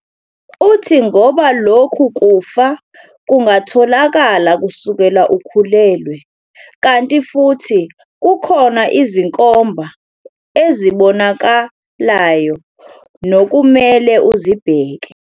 Uthi ngoba lokhu kufa kungatholakala kusukela ukhulelwa, kanti futhi kukhona izinkomba ezibonaka layo nokumele uzibheke.